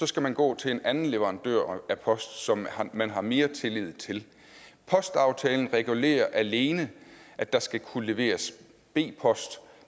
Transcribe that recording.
skal man gå til en anden leverandør af post som man har mere tillid til postaftalen regulerer alene at der skal kunne leveres b post